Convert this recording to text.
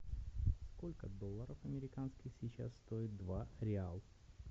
сколько долларов американских сейчас стоит два реал